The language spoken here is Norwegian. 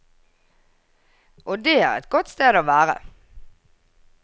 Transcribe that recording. Og det er et godt sted å være.